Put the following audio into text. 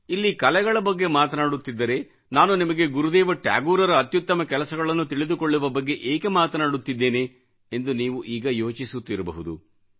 ಇಲ್ಲಿ ಕಲೆಗಳ ಬಗ್ಗೆ ಮಾತನಾಡುತ್ತಿದ್ದರೆ ನಾನು ನಿಮಗೆ ಗುರುದೇವ ಠಾಗೋರ್ ಅತ್ಯುತ್ತಮ ಕೆಲಸಗಳನ್ನು ತಿಳಿದುಕೊಳ್ಳುವ ಬಗ್ಗೆ ಏಕೆ ಮಾತನಾಡುತ್ತಿದ್ದೇನೆ ಎಂದು ನೀವು ಈಗ ಯೋಚಿಸುತ್ತಿರಬಹುದು